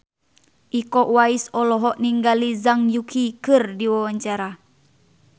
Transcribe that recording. Iko Uwais olohok ningali Zhang Yuqi keur diwawancara